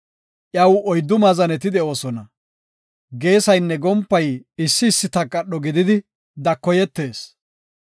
Iyaw oyddu maazaneti de7oosona; geesaynne gompay issi issi takadho gididi, dakoyetees.